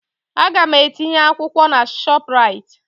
Aga m etinye akwụkwọ na ShopRite